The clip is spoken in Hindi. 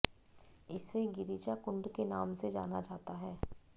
इसे गिरिजा कुंड के नाम से जाना जाता है